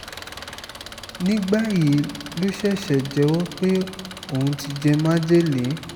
nígbàyí ló ṣẹ̀ṣẹ̀ jẹ́wọ́ pé òun ti jẹ́ májèlé